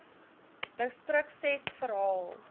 distrik ses verhaal